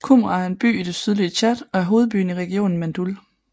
Koumra er en by i det sydlige Tchad og er hovedbyen i regionen Mandoul